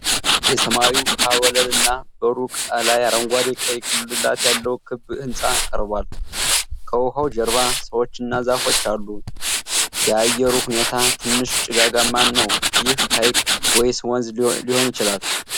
የሰማያዊ ውሃ ወለል እና በሩቁ ላይ አረንጓዴና ቀይ ጉልላት ያለው ክብ ሕንፃ ቀርቧል። ከውኃው ጀርባ ሰዎችና ዛፎች አሉ። የአየሩ ሁኔታ ትንሽ ጭጋጋማ ነው። ይህ ሃይቅ ወይስ ወንዝ ሊሆን ይችላል?